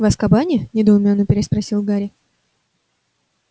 в азкабане недоумённо переспросил гарри